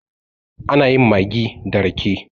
ana yin maggi da rake